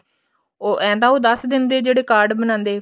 ਏਂ ਤਾਂ ਉਹ ਦੱਸ ਦਿੰਦੇ ਜਿਹੜੇ card ਬਣਾਉਂਦੇ